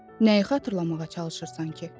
Nəyi xatırlamağa çalışırsan ki?